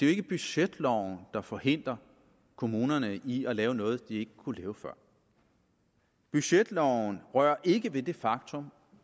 er budgetloven der forhindrer kommunerne i at lave noget de kunne lave før budgetloven rører ikke ved det faktum